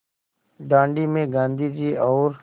दाँडी में गाँधी जी और